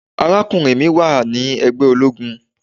Arákùnrin mi wà ní ègbé ológun.